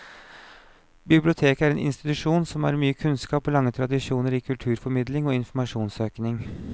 Biblioteket er en institusjon som har mye kunnskap og lange tradisjoner i kulturformidling og informasjonssøking.